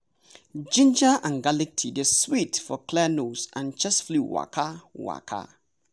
ginger an garlic tea dey sweet for clear nose an chase flu waka. waka.